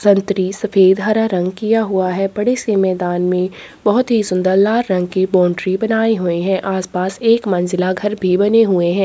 सफेद हरा रंग किया हुआ है बड़े से मैदान में बहोत ही सुंदर लाल रंग की बाउंड्री बनाये हए है आस-पास एक मंजिला घर भी बने हुए हैं।